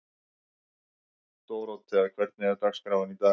Dórótea, hvernig er dagskráin í dag?